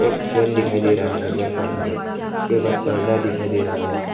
एक फ्रेम दिखाई दे रहा है घर का अंदर उसके बाद पर्दा दिखाई दे रहा है।